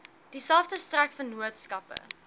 dieselfde sterk vennootskappe